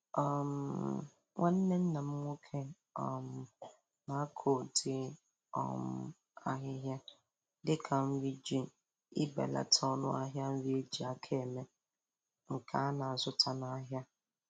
um Nwanne nna m nwoke um na-akọ udi um ahịhịa dịka nri iji belata ọnụ ahịa nri eji aka eme nke ana-azụta n' ahịa